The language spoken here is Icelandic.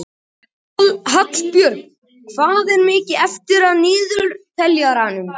Hallbjörg, hvað er mikið eftir af niðurteljaranum?